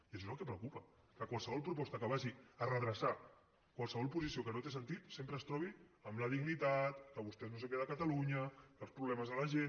i això és el que preocupa que qualsevol proposta que vagi a redreçar qualsevol posició que no té sentit sempre es trobi amb la dignitat que vostès no sé què de catalunya que els problemes de la gent